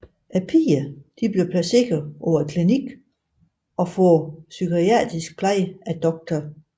Pigerne bliver placeret på en klinik og får psykiatrisk pleje af Dr